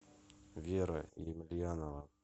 вера емельянова